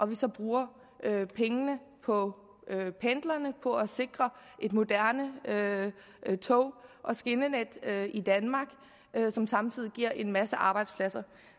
vi så bruger pengene på pendlerne på at sikre et moderne tog og skinnenet i danmark som samtidig giver en masse arbejdspladser